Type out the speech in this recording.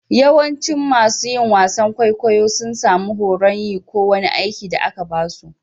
Yawancin masun yin wasan kwaikwayo sun samu horon yin ko wani aiki da aka ba su.